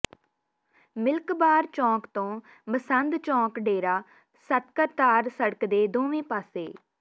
milk bar ਚੌਂਕ ਤੋਂ ਮਸੰਦ ਚੌਂਕ ਡੇਰਾ ਸਤਕਰਤਾਰ ਸੜਕ ਦੇ ਦੋਵੇਂ ਪਾਸੇ